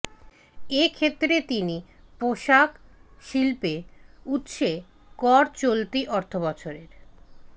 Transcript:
এ ক্ষেত্রে তিনি পোশাক শিল্পে উৎসে কর চলতি অর্থবছরের